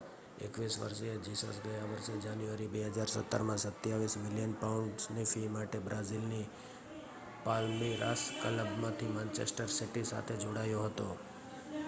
21 વર્ષીય જીસસ ગયા વર્ષે જાન્યુઆરી 2017માં 27 મિલિયન પાઉન્ડની ફી માટે બ્રાઝિલની પાલ્મિરાસ ક્લબમાંથી માન્ચેસ્ટર સિટી સાથે જોડાયો હતો